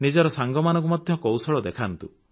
ନିଜର ସାଙ୍ଗମାନଙ୍କୁ ମଧ୍ୟ କୌଶଳ ଦେଖାନ୍ତୁ